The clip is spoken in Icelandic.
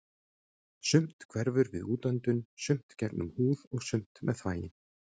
Sumt hverfur við útöndun, sumt gegnum húð og sumt með þvagi.